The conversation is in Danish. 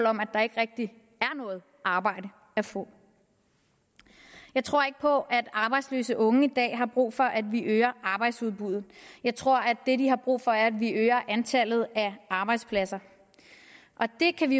om at der ikke rigtig er noget arbejde at få jeg tror ikke på at arbejdsløse unge i dag har brug for at vi øger arbejdsudbuddet jeg tror at det de har brug for er at vi øger antallet af arbejdspladser og det kan vi